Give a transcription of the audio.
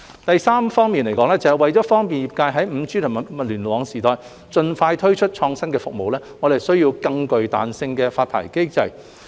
第三，為便利業界在 5G 及物聯網時代盡快推出創新服務，我們需要更具彈性的發牌機制。